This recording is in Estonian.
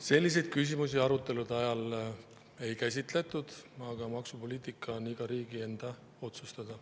Selliseid küsimusi arutelude ajal ei käsitletud, aga maksupoliitika on iga riigi enda otsustada.